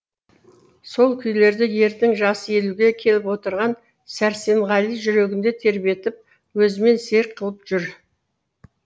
сол күйлерді ердің жасы елуге келіп отырған сәрсенғали жүрегінде тербетіп өзімен серік қылып жүр